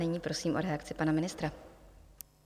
Nyní prosím o reakci pana ministra.